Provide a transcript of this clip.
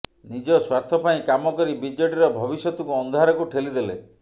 ନିଜ ସ୍ୱାର୍ଥ ପାଇଁ କାମ କରି ବିଜେଡିର ଭବିଷ୍ୟତକୁ ଅନ୍ଧାରକୁ ଠେଲିଦେଲେ